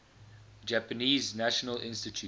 japanese national institute